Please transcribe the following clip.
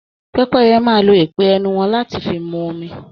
Pẹpẹyẹ máa lò ìpe ẹnu wọn láti fi mú omi.